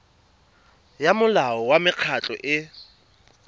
ya molao wa mekgatlho e